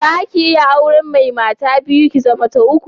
Zaki iya auren mai mata biyu, ki zama ta uku?